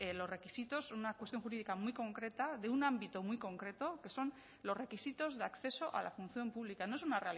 los requisitos una cuestión jurídica muy concreta de un ámbito muy concreto que son los requisitos de acceso a la función pública no es una